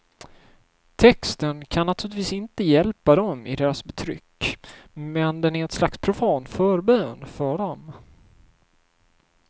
Texten kan naturligtvis inte hjälpa dem i deras betryck, men den är ett slags profan förbön för dem.